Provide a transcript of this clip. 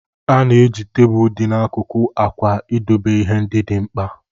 A na-eji tebụl dị n'akụkụ akwa idobe ihe ndị dị mkpa